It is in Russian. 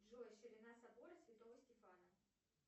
джой ширина собора святого стефана